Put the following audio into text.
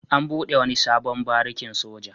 An buɗe wani sabon barikin soja.